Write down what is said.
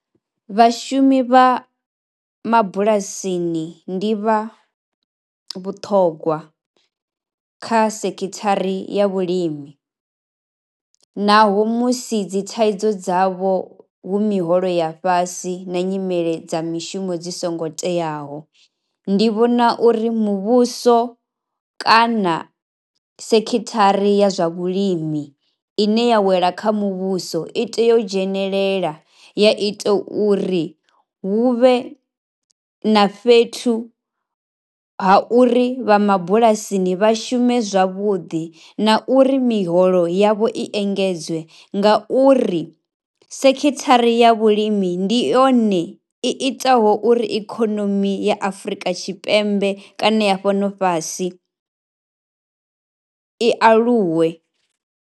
Vhashumi vha mabulasini ndi vha vhuṱhogwa kha sekhithari ya vhulimi naho musi dzi thaidzo dzavho hu miholo ya fhasi na nyimele dza mishumo dzi songo teaho. Ndi vhona uri muvhuso kana sekhithari ya zwa vhulimi ine ya wela kha muvhuso i tea u dzhenelela ya ita uri hu vhe na fhethu ha uri vha mabulasini vha shume zwavhuḓi na uri miholo yavho i engedzwe ngauri sekhithari ya vhulimi ndi yone i itaho uri ikhonomi ya Afrika Tshipembe kana ya fhano fhasi i aluwe.